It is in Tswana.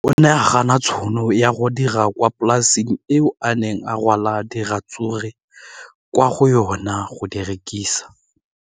O ne a gana tšhono ya go dira kwa polaseng eo a neng rwala diratsuru kwa go yona go di rekisa.